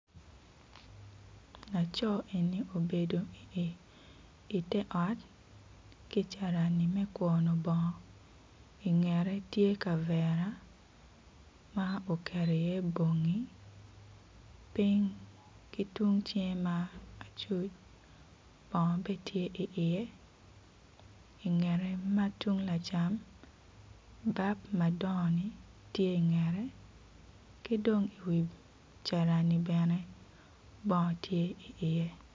Laco eni obedo i te ot ki cirani me kwoyo bongo ki i ngete kicaa ma oketo iye bongi piny ki cinge ma lacuc bongo bene tye iye i ngete ma tung lacam madon tye i ngete.